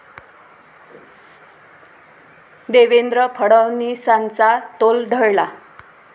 देवेंद्र फडणवीसांचा तोल ढळला